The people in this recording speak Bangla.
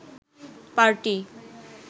পার্টি